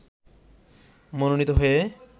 মনোনীত হয়ে